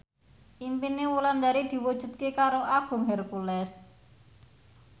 impine Wulandari diwujudke karo Agung Hercules